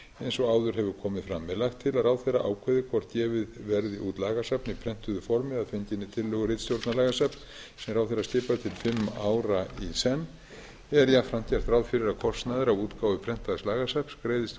eins og áður hefur komið fram er lagt til að ráðherra ákveði hvort gefið verði út lagasafn í prentuðu formi að fenginni tillögu ritstjórnar lagasafns sem ráðherra skipar til fimm ára í senn er jafnframt gert ráð fyrir að kostnaður af útgáfu prentaðs lagasafns greiðist úr